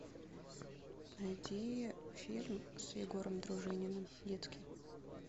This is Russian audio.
найди фильм с егором дружининым детский